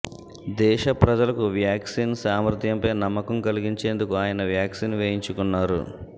దేశ ప్రజలకు వ్యాక్సిన్ సామర్థ్యంపై నమ్మకం కలిగిచేందుకు ఆయన వ్యాక్సిన్ వేయించుకున్నారు